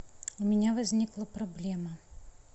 у меня возникла проблема